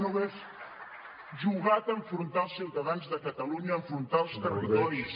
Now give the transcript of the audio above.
no hagués jugat a enfrontar els ciutadans de catalunya a enfrontar els territoris